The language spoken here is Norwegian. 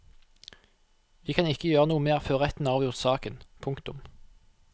Vi kan ikke gjøre noe mer før retten har avgjort saken. punktum